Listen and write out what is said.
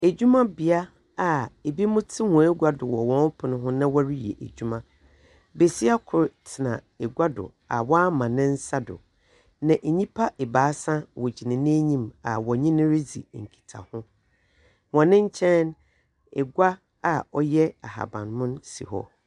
Adwumabea a ebinom te wɔn agua do wɔ wɔn pon ho na wɔreyɛ adwuma. Besia kor tena agua do a ɔama ne nsa do. Na nnipa abaasa gyina n'enyim a wɔnye no redzi nkita ho. Wɔn nkyɛn no agua a ɔtɛ ahabanmon si hɔ.